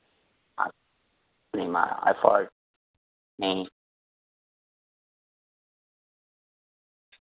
અને મારા effort ને